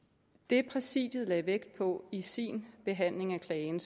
det præsidiet lagde vægt på i sin behandling af klagen